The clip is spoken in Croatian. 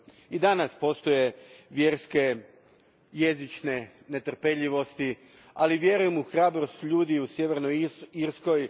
I danas postoje vjerske, jezične netrepeljivosti, ali vjerujem u hrabrost ljudi u Sjevernoj Irskoj.